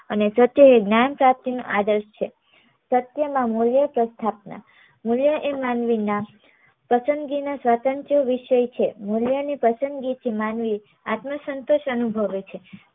અને સત્ય એ જ્ઞાન સાથે નું આદર્શ છે સત્ય માં મુલ્ય એ સ્થાપના મુલ્ય એ માનવી નાં પસંદગી નાં સ્વતંત્ર વિષય છે મુલ્ય ની પસંદગી થી માનવી આત્મ સંતોષ અનુભવે છે